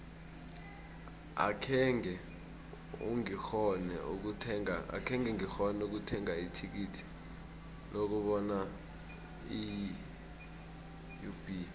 akhenge ngikghone ukuthenga ithikithi lokubona iub